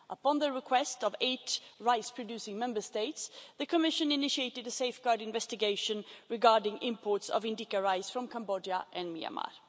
Upon the request of eight rice producing Member States, the Commission initiated a safeguard investigation regarding imports of indica rice from Cambodia and Myanmar.